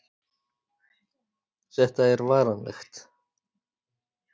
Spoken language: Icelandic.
Þetta er varanlegt